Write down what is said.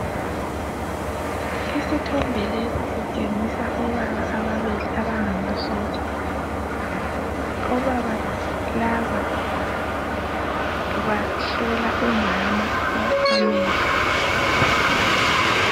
Isithombe lesi sitshengisa obaba ababili abangamasotsha. Obaba laba bahlola umama amehlo.